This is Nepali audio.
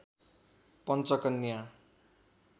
पञ्चकन्या